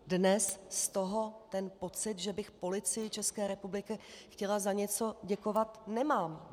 Dnes z toho ten pocit, že bych Policii České republiky chtěla za něco děkovat, nemám.